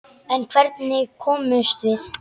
En hvernig komumst við?